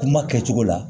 Kuma kɛcogo la